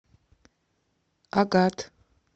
агат